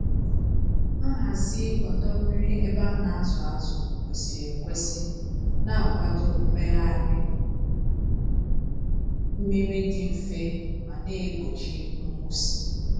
Nhazi ọdọ mmiri ebe a na-azụ azụ kwesịrị ekwesị na-akwado mmegharị mmiri dị mfe ma na-egbochi nkwụsị.